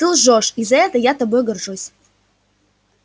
ты лжёшь и за это я тобой горжусь